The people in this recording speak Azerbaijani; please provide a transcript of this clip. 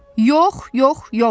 Yox, yox, yox!